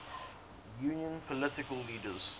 union political leaders